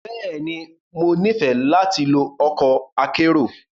Bẹ́ẹ̀ni, Mo nifẹ lati lo ọkọ akero.